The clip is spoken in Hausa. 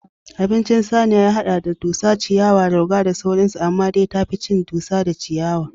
Abincin saniya ya haɗa da: dusa, ciyawa, rauga da sauran su amma dai tafi cin dusa da ciyawa